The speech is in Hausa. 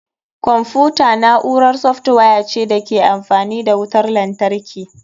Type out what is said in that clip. Kwamfuta na'urar software ce da ke amfani da wutar lantarki.